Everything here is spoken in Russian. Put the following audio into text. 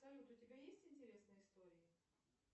салют у тебя есть интересные истории